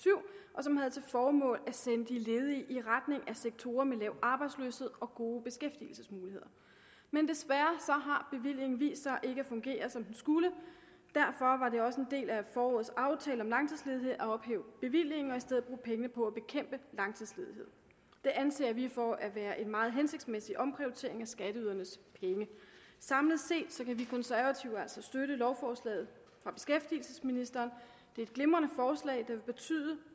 og som havde til formål at sende de ledige i retning af sektorer med lav arbejdsløshed og gode beskæftigelsesmuligheder men desværre har bevillingen vist sig ikke at fungere som den skulle og det også en del af forårets aftale om langtidsledighed at ophæve bevillingen og i stedet bruge pengene på at bekæmpe langtidsledighed det anser vi for at være en meget hensigtsmæssig omprioritering af skatteydernes penge samlet set kan vi konservative altså støtte lovforslaget fra beskæftigelsesministeren det er et glimrende lovforslag der vil betyde